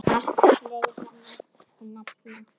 Margt fleira mætti nefna.